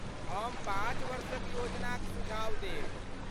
हम पाँच वर्षक योजनाक सुझाव देब।